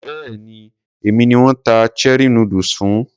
Béèni èmi ni wón ta cherie noodles fún.